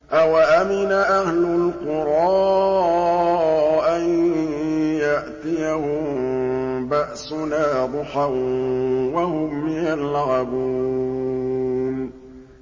أَوَأَمِنَ أَهْلُ الْقُرَىٰ أَن يَأْتِيَهُم بَأْسُنَا ضُحًى وَهُمْ يَلْعَبُونَ